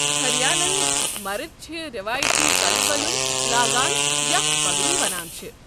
ہریانہ ہٕکۍ مرد چھِ روایتی کلہٕ ولُِن لاگان یتھ پگڈی وَنان چھِ۔